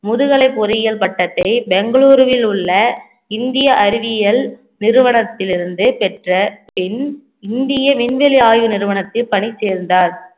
முதுகலை பொறியியல் பட்டத்தை பெங்களூருவில் உள்ள இந்திய அறிவியல் நிறுவனத்தில் இருந்தே பெற்ற பின் இந்திய விண்வெளி ஆய்வு நிறுவனத்தில் பணி சேர்ந்தார்